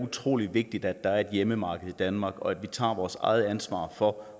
utrolig vigtigt at der er et hjemmemarked i danmark og at vi tager vores eget ansvar for